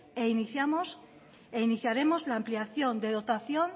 e iniciamos e iniciaremos la ampliación de dotación